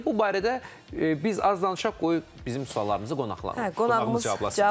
Bu barədə biz az danışaq, qoy bizim suallarımızı qonağımız cavablasın.